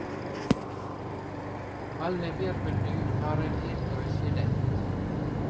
Alle virveldyr har et indre skjelett.